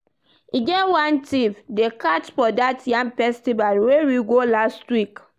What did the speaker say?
E get one thief dey catch for dat yam festival wey we go last week